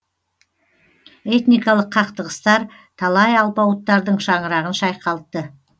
этникалық қақтығыстар талай алпауыттардың шаңырағын шайқалтты